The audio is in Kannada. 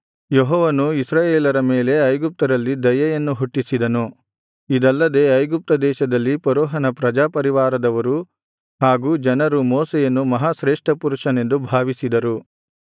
ಯೆಹೋವನು ಇಸ್ರಾಯೇಲರ ಮೇಲೆ ಐಗುಪ್ತ್ಯರಲ್ಲಿ ದಯೆಯನ್ನು ಹುಟ್ಟಿಸಿದನು ಇದಲ್ಲದೆ ಐಗುಪ್ತ ದೇಶದಲ್ಲಿ ಫರೋಹನ ಪ್ರಜಾಪರಿವಾರದವರು ಹಾಗು ಜನರು ಮೋಶೆಯನ್ನು ಮಹಾಶ್ರೇಷ್ಠಪುರುಷನೆಂದು ಭಾವಿಸಿದರು